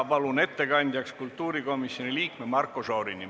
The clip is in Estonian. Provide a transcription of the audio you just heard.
Palun ettekandjaks kultuurikomisjoni liikme Marko Šorini.